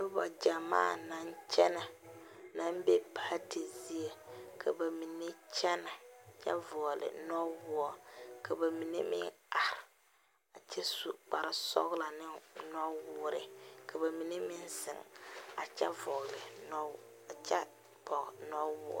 Noba gyɛmaa naŋ kyɛnɛ naŋ be paati zie ka ba mine kyɛnɛ kyɛ vɔgle nɔwoɔ ka ba mine meŋ are a kyɛ su kparesɔglɔ ne nɔwoore ka ba mine meŋ zeŋ a kyɛ vɔgle nɔ kyɛ vɔge nɔwo.